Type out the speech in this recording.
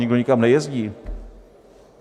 Nikdo nikam nejezdí.